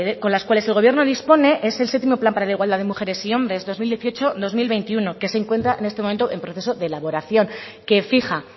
con las cuales el gobierno dispone es el séptimo plan para la igualdad de mujeres y hombres dos mil dieciocho dos mil veintiuno que se encuentra en este momento en proceso de elaboración que fija